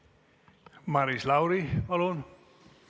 Maris Lauri, palun!